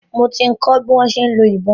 Mo ti kọ́ bi wọ́n ṣe ń lo ìbọn.